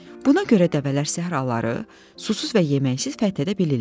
Buna görə də dəvələr səhraları susuz və yeməksiz fəth edə bilirlər.